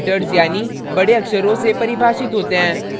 ये capital letters यानि बड़े अक्षरों से परिभाषित होते हैं